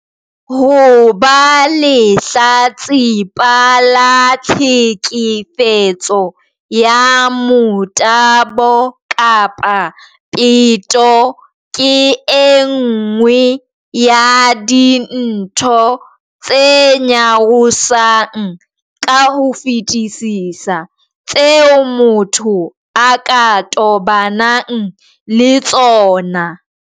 Ho ba lehlatsipa la tlheke fetso ya motabo kapa peto ke e nngwe ya dintho tse nyarosang ka ho fetisisa tseo motho a ka tobanang le tsona.